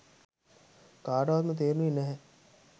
කාටවත්ම තේරුණේ නැහැ.